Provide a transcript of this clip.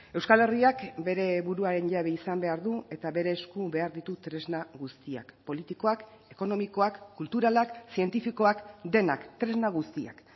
euskal herriak bere buruaren jabe izan behar du eta bere esku behar ditu tresna guztiak politikoak ekonomikoak kulturalak zientifikoak denak tresna guztiak